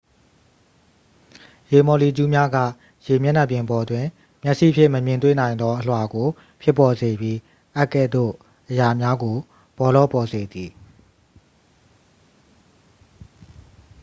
ရေမော်လီကျူးများက ရေမျက်နှာပြင်ပေါ်တွင် မျက်စိဖြင့် မမြင်တွေ့နိုင်သော အလွှာကိုဖြစ်ပေါ်စေပြီး အပ်ကဲ့သို့အရာများကို ပေါလောပေါ်စေသည်